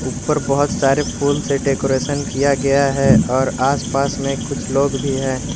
ऊपर बहोत सारे फूल से डेकोरेशन किया गया है और आसपास में कुछ लोग भी है।